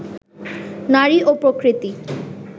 নারী ও প্রকৃতি